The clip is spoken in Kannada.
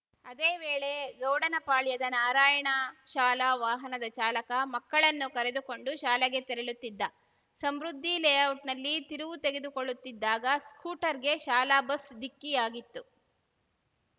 ಅದೇ ವೇಳೆ ಗೌಡನಪಾಳ್ಯದ ನಾರಾಯಣ ಶಾಲಾ ವಾಹನದ ಚಾಲಕ ಮಕ್ಕಳನ್ನು ಕರೆದುಕೊಂಡು ಶಾಲೆಗೆ ತೆರಳುತ್ತಿದ್ದ ಸಮೃದ್ಧಿ ಲೇಔಟ್‌ನಲ್ಲಿ ತಿರುವು ತೆಗೆದುಕೊಳ್ಳುತ್ತಿದ್ದಾಗ ಸ್ಕೂಟರ್‌ಗೆ ಶಾಲಾ ಬಸ್‌ ಡಿಕ್ಕಿಯಾಗಿತ್ತು